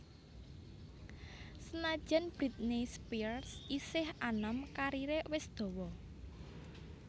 Senadyan Britney Spears isih anom kariré wis dawa